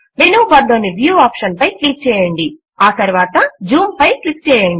menu bar లోని view option పై click చేయండి మరియు ఆ తరువాత జూమ్ పై క్లిక్ చేయండి